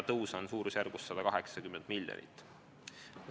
Tõus on suurusjärgus 180 miljonit.